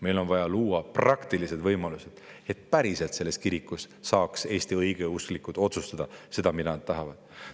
Meil on vaja luua praktilised võimalused, et päriselt saaksid Eesti õigeusklikud selles kirikus otsustada nii, nagu nad tahavad.